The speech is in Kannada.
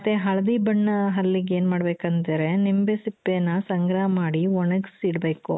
ಮತ್ತೆ ಹಳದಿ ಬಣ್ಣ ಹಲ್ಲಿಗೇನ್ ಮಾಡ್ಬೇಕಂದ್ರೆ ನಿಂಬೆ ಸಿಪ್ಪೆನ ಸಂಗ್ರಹ ಮಾಡಿ ಒಣಗಿಸಿಡಬೇಕು.